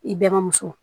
I balimuso